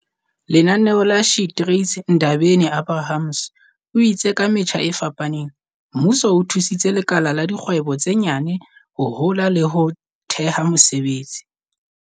Lenaneo la SheTrades Ndabeni-Abrahams o itse ka metjha e fapaneng, mmuso o thusitse lekala la dikgwebo tse nyane ho hola le ho theha mesebetsi."